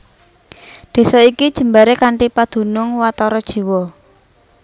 Desa iki jembaré kanthi padunung watara jiwa